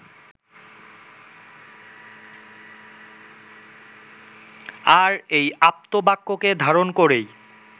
আর এই আপ্তবাক্যকে ধারণ করেই